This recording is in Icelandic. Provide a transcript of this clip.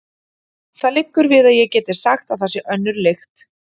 Það liggur við að ég geti sagt að þar sé önnur lykt.